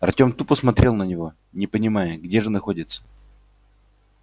артём тупо смотрел на него не понимая где же находится